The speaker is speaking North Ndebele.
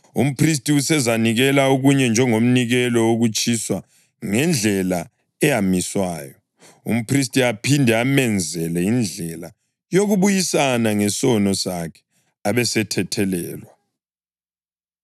Umphristi usezanikela okunye njengomnikelo wokutshiswa ngendlela eyamiswayo, umphristi aphinde amenzele indlela yokubuyisana ngesono sakhe, abesethethelelwa.